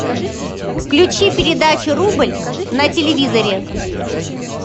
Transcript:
включи передачу рубль на телевизоре